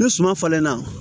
Ni suma falenna